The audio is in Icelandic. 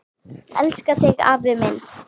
Elska þig afi minn.